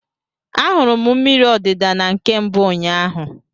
Ahụrụ m mmiri odida na nke mbụ ụnyaahụ.